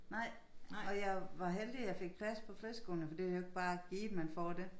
Nej og jeg var heldig jeg fik plads på friskolen for det jo ikke bare givet man får dét